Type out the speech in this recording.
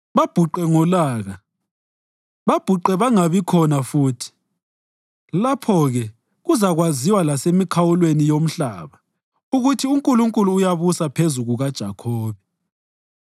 babhuqe ngolaka, babhuqe bangabi khona futhi. Lapho-ke kuzakwaziwa lasemikhawulweni yomhlaba ukuthi uNkulunkulu uyabusa phezu kukaJakhobe.